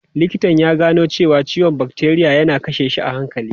Likitan ya gano cewa ciwon bakteriya yana kashe shi a hankali.